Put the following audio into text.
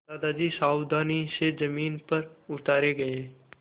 दादाजी सावधानी से ज़मीन पर उतारे गए